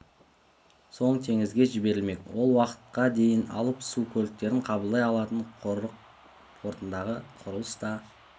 соң теңізге жіберілмек ол уақытқа дейін алып су көліктерін қабылдай алатын құрық портындағы құрылыс та